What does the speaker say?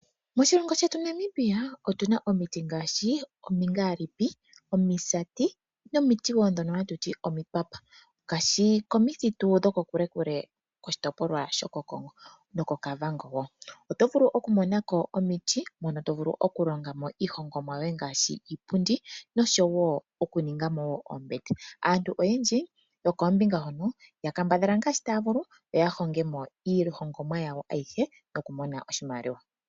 Moshilongo shetu Namibia otu na omiti ngaashi omingaalipi, omisati nomiti woo ndhono hatu ti omipapa. Komithitu dhoko kule ngaashi koshitopolwa shaKongo nokoKavango oto vulu oku mona ko omiti mono to vulu okulonga mo iihongomwa yoye ngaashi iipundi nosho woo oombete. Aantu oyendji yokoombinga hono oya kambadhala ngaashi taya vulu opo yahongemo iihongomwa yawo ayihe yalandithe yo yi imonene oshimaliwa.